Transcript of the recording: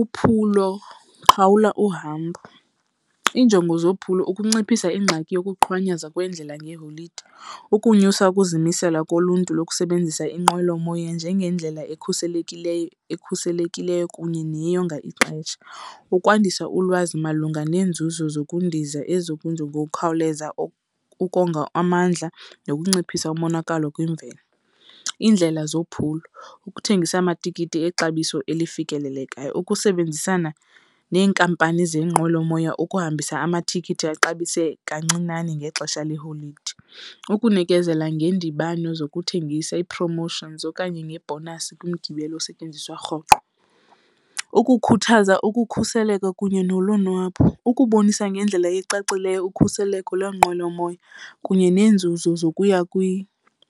Uphulo, qhawula uhambo. Iinjongo zophulo ukunciphisa ingxaki yokuqhwanyaza kwendlela ngeeholide, ukunyusa ukuzimisela koluntu lokusebenzisa inqwelomoya njengendlela ekhuselekileyo ekhuselekileyo kunye neyonga ixesha, ukwandisa ulwazi malunga neenzuzo zokundiza ngokukhawuleza ukonga amandla nokunciphisa umonakalo kwimvelo. Iindlela zephulo, ukuthengisa amatikiti exabiso elifikelelekayo. Ukusebenzisana neenkampani zeenqwelomoya ukuhambisa amatikiti axabise kancinane ngexesha leeholide, ukunikezela ngeendibano zokuthengisa ii-promotions okanye nge-bonus kwimigibelo osetyenziswa rhoqo. Ukukhuthaza ukukhuseleko kunye nolonwabo. Ukubonisa ngendlela ecacileyo ukhuseleko lweenqwelomoya kunye neenzuzo zokuya